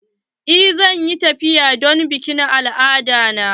Eh zan yi tafiya don bikin al'ada na.